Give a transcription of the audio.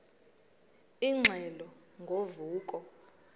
ingxelo ngo vuko